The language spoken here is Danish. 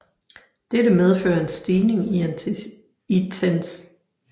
Dette medfører en stigning i intensiteten af stormbølger